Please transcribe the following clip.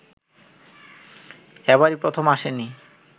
এবারই প্রথম আসেনি